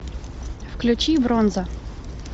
включи бронза